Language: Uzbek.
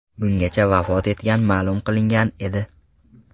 Bungacha vafot etgani ma’lum qilingan edi.